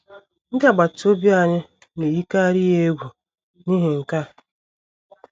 Ndị agbata obi anyị na - eyikarị ya egwu n’ihi nke a.